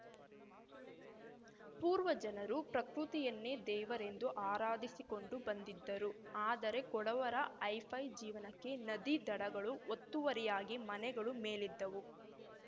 ಪೂರ್ವಜನರು ಪೃಕೃತಿಯನ್ನೇ ದೇವರೆಂದು ಆರಾಧಿಸಿಕೊಂಡು ಬಂದಿದ್ದರು ಆದರೆ ಕೊಡವರ ಹೈಫೈ ಜೀವನಕ್ಕೆ ನದಿ ದಡಗಳು ಒತ್ತುವರಿಯಾಗಿ ಮನೆಗಳು ಮೇಲೆದ್ದವು